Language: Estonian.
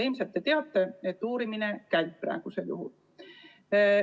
Ilmselt te teate, et uurimine praegu käib.